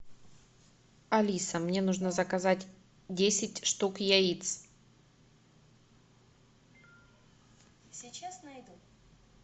алиса мне нужно заказать десять штук яиц